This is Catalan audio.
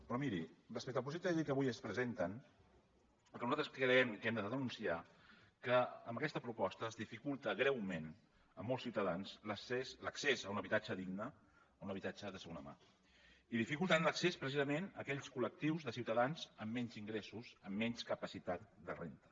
però miri respecte al projecte de llei que avui ens presenten el que nosaltres creiem que hem de denunciar que amb aquesta proposta es dificulta greument a molts ciutadans l’accés a un habitatge digne a un habitatge de segona mà i en dificulta l’accés precisament a aquells col·lectius de ciutadans amb menys ingressos amb menys capacitat de renda